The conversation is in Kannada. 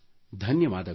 ಧನ್ಯವಾದಗಳು